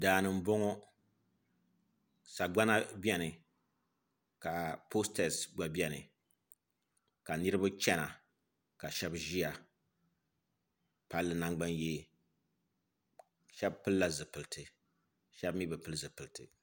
Daani n boŋo sagbana bɛni ka postɛs gba bɛni ka niraba chɛna ka shab ʒiya palli nangbani yee shab pilla zipilisi shab mii bi pili zipilisi